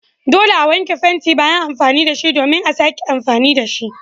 Dole a wanke fenti bayan amfani da shi domin a sake amfani da shi.